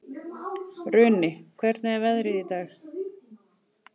Runi, hvernig er veðrið í dag?